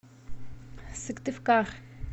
сыктывкар